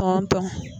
Tɔn tɔn